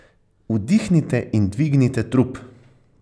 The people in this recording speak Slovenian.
Vdihnite in dvignite trup.